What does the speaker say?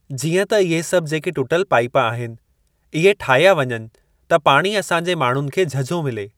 जीअं त इहे सभु जेके टूटल पाइप आहिनि इहे ठाहिया वञनि त पाणी असां जे माण्हुनि खे झझो मिले।